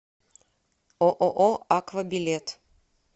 ооо аква билет